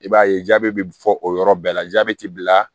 I b'a ye jabɛti bɛ fɔ o yɔrɔ bɛɛ la jabɛti b'i la